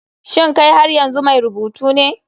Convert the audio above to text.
Shin kai har yanzu mai rubutu ne?